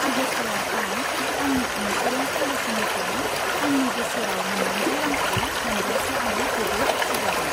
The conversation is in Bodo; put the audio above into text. आगस्त'आव आं आंनि इनसुरेन्स पलिसिनिफ्राय आंनि बोसोराव मोननांगौ रांखौ मोनब्लासो आं जोबोद खुसि जागोन।